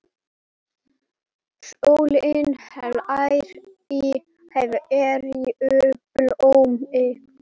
Sólin hlær í hverju blómi.